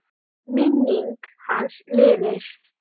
Minning hans lifir.